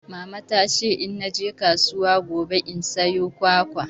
Mama ta ce in naje kasuwa gobe in sayo kwakwa.